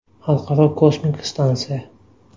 Xalqaro kosmik stansiya.